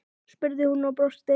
spurði hún og brosti.